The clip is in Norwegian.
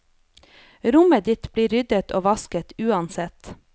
Rommet ditt blir ryddet og vasket uansett.